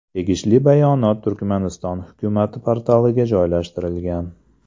Tegishli bayonot Turkmaniston hukumati portaliga joylashtirilgan .